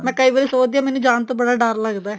ਮੈਂ ਕਈ ਵਾਰੀ ਸੋਚਦੀ ਹਾਂ ਮੈਨੂ ਜਾਣ ਤੋਂ ਬੜਾ ਡਰ ਲੱਗਦਾ